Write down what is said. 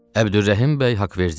Əbdürrəhim bəy Haqverdiyev.